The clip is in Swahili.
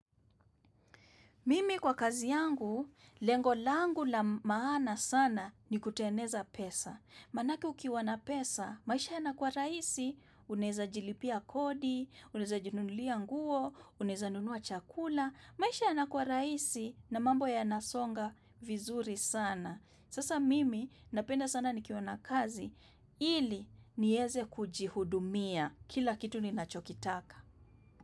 Mimi kwa kazi yangu, lengo langu la maana sana ni kuteneza pesa. Manake ukiwa na pesa, maisha yanakua rahisi, unaeza jilipia kodi, unaeza jinunulia nguo, unaeza nunua chakula. Maisha yanakua rahisi na mambo yanasonga vizuri sana. Sasa mimi napenda sana nikiwa na kazi, ili nieze kujihudumia kila kitu ninachokitaka.